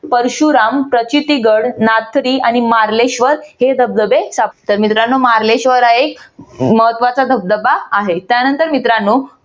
परशुराम प्रचिती गड नाथरी आणि मार्लेश्वर हे धबधबे तर मार्लेश्वर आहे महत्वाचा धबधबा आहे. त्यानंतर मित्रांनो